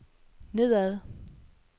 nedad